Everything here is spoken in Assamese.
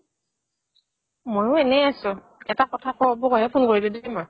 ময়ো এনে আছো এটা কথা ক'বৰ কাৰণে ফোন কৰিলো দে তোমাক